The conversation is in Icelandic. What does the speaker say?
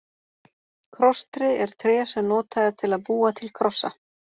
Krosstré er tré sem notað er til að búa til krossa.